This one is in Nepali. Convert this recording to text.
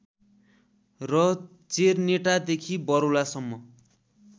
र चेरनेटादेखि बरौलासम्म